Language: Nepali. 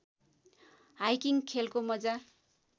हाइकिङ खेलको मजा